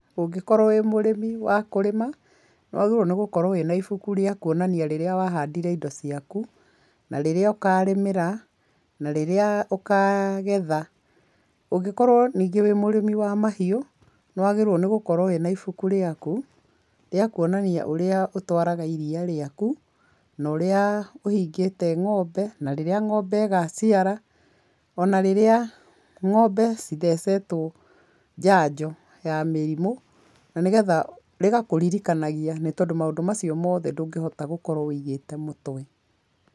Ũngikorwo wĩ mũrĩmi wa kũrĩma, nĩ wagĩrĩirwo nĩ gũkorwo wĩna ibuku rĩa kuonania rĩrĩa wahandire indo ciaku na rĩrĩa ũkarĩmĩra na rĩrĩa ũkagetha. Ũngĩkorwo ningĩ wĩ mũrĩmi wa mahiũ, nĩwagĩrĩirwo nĩ gũkorwo wĩ na ibuku rĩaku rĩa kuonania ũrĩa ũtwaraga iria rĩaku na ũrĩa ũhingĩte ng'ombe na rĩrĩa ng'ombe ĩgaciara, o na rĩrĩa ng'ombe cithecetwo njanjo ya mĩrimũ, na nĩ getha rĩgakũririkanagia, na nĩ tondũ maũndũ macio mothe ndũngĩhota gũkorwo wĩigĩte mũtwe.